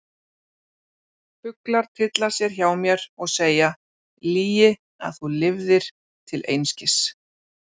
Fuglar tylla sér hjá mér og segja: lygi að þú lifðir til einskis.